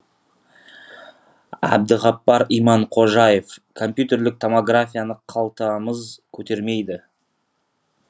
әбдіғаппар иманқожаев компьютерлік томографияны қалтамыз көтермейді